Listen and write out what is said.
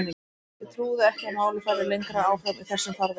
Ég trúði ekki að málið færi lengra áfram í þessum farvegi.